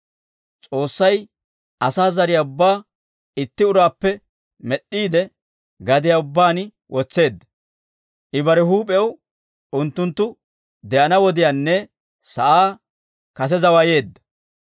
S'oossay asaa zariyaa ubbaa itti uraappe med'd'iide, gadiyaa ubbaan wotseedda; I bare huup'ew unttunttu de'ana wodiyaanne sa'aa kase zawayeedda.